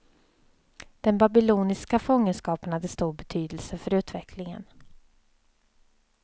Den babyloniska fångenskapen hade stor betydelse för utvecklingen.